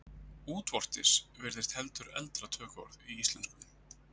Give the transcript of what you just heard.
Útvortis virðist heldur eldra tökuorð í íslensku.